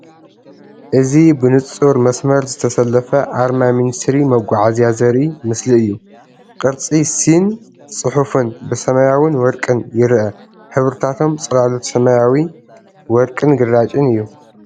እዚ ብንጹር መስመር ዝተሰለፈ ኣርማ ሚኒስትሪ መጓዓዝያ ዘርኢ ምሰሊ እዩ። ቅርጺ "ሲ"ን ጽሑፍን ብሰማያውን ወርቅን ይርአ። ሕብርታቶም ጽላሎት ሰማያዊ፡ ወርቅን ግራጭን እዩ።